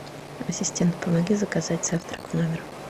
ассистент помоги заказать завтрак в номер